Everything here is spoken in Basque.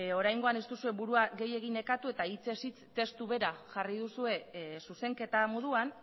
oraingoan ez duzue burua gehiegi nekatu eta hitzez hitz testu bera jarri duzue zuzenketa moduan